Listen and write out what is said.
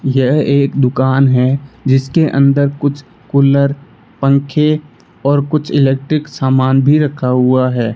यह एक दुकान है जिसके अंदर कुछ कूलर पंखे और कुछ इलेक्ट्रिक सामान भी रखा हुआ है।